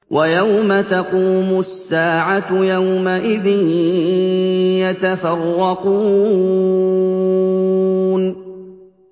وَيَوْمَ تَقُومُ السَّاعَةُ يَوْمَئِذٍ يَتَفَرَّقُونَ